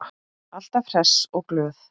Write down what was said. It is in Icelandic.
Alltaf hress og glöð.